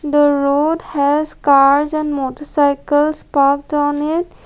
the road has cars and motorcycles parked on it.